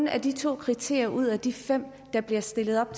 er de to kriterier ud af de fem der bliver stillet op